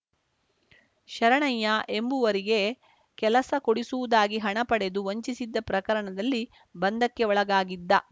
ಶರಣಯ್ಯ ಎಂಬುವರಿಗೆ ಕೆಲಸ ಕೊಡಿಸುವುದಾಗಿ ಹಣ ಪಡೆದು ವಂಚಿಸಿದ್ದ ಪ್ರಕರಣದಲ್ಲಿ ಬಂಧಕ್ಕೆ ಒಳಗಾಗಿದ್ದ